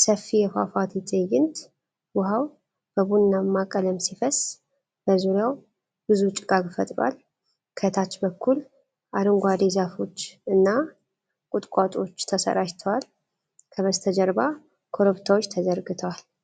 ሰፊ የፏፏቴ ትዕይንት፣ ውሃው በቡናማ ቀለም ሲፈስ በዙሪያው ብዙ ጭጋግ ፈጥሯል። ከታች በኩል አረንጓዴ ዛፎች እና ቁጥቋጦዎች ተሰራጭተዋል። ከበስተጀርባ ኮረብታዎች ተዘርግተዋል።